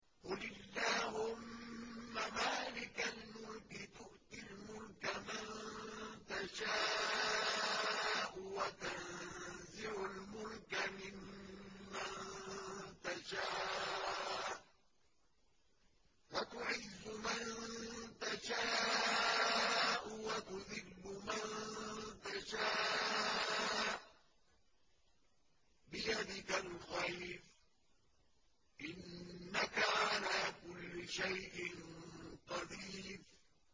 قُلِ اللَّهُمَّ مَالِكَ الْمُلْكِ تُؤْتِي الْمُلْكَ مَن تَشَاءُ وَتَنزِعُ الْمُلْكَ مِمَّن تَشَاءُ وَتُعِزُّ مَن تَشَاءُ وَتُذِلُّ مَن تَشَاءُ ۖ بِيَدِكَ الْخَيْرُ ۖ إِنَّكَ عَلَىٰ كُلِّ شَيْءٍ قَدِيرٌ